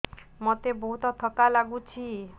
ମୋତେ ବହୁତ୍ ଥକା ଲାଗୁଛି